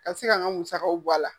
Ka se ka n ka musakaw bɔ a la.